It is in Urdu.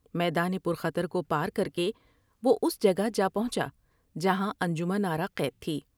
میدان پر خطر کو پار کر کے وہ اس جگہ جا پہنچا جہاں انجمن آرا قید تھی ۔